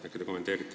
Äkki te kommenteerite.